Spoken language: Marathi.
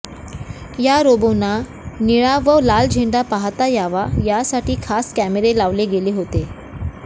या रोबोना निळा व लाल झेंडा पाहता यावा यासाठी खास कॅमेरे लावले गेले होते